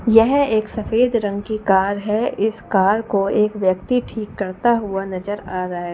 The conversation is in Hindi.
यह एक सफेद रंग की कार है इस कार को एक व्यक्ति ठीक करता हुआ नजर आ रहा है ।